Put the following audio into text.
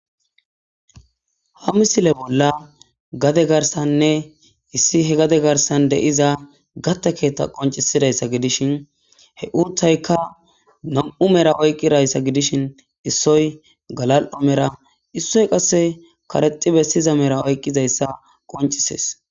ha misile bolla gade garsanne issi he gade garsan de'iza gatta keetta qoncisidayssa gidishin he urtayka nam7u mera oyqqidayssa gidishin issoy galal7o mera issoy qasse karexi bessiza mera oyqqizayssa qoncisees